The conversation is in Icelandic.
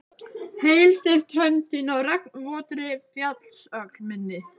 Heilsteypt hönd þín á regnvotri fjallsöxl minni.